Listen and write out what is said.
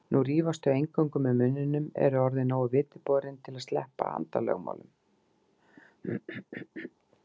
Nú rífast þau eingöngu með munninum, eru orðin nógu vitiborin til að sleppa handalögmálum.